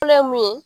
Fɔlɔ ye mun ye